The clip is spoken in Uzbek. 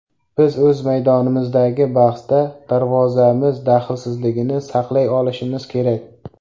Biz o‘z maydonimizdagi bahsda darvozamiz dahlsizligini saqlay olishimiz kerak.